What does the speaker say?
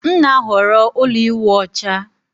M na-ahọrọ ụlọ ịwụ ọcha